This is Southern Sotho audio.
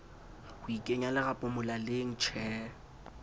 ho ikenya lerapo molaleng tjee